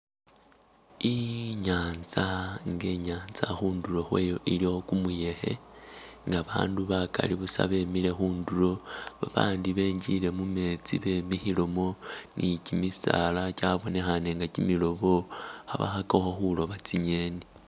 Inyanza inga inyanza khunduro khwayo khulikho gumuyekhe nga bandu bagali buusa bemile khunduro bandi benjile mumetsi bemikhilemo ni gimisaala gyabonekhane nga gimilobo kha khagakho khuloba tsingeni.